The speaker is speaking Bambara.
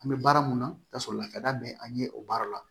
An bɛ baara mun na ka sɔrɔ lakada bɛ an ɲɛ o baara la